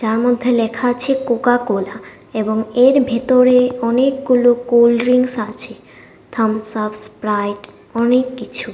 তার মধ্যে লেখা আছে কোকাকোলা এবং এর ভিতরে অনেকগুলো কোলড্রিংস আছে থামসআপ স্প্রাইট অনেক কিছু।